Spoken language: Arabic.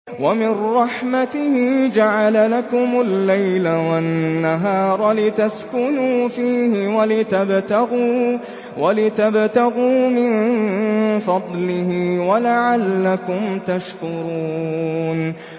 وَمِن رَّحْمَتِهِ جَعَلَ لَكُمُ اللَّيْلَ وَالنَّهَارَ لِتَسْكُنُوا فِيهِ وَلِتَبْتَغُوا مِن فَضْلِهِ وَلَعَلَّكُمْ تَشْكُرُونَ